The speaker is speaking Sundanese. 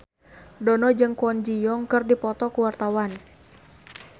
Dono jeung Kwon Ji Yong keur dipoto ku wartawan